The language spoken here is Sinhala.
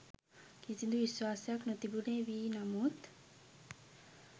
කිසිදු විශ්වාසයක් නොතිබුණේ වී නමුත්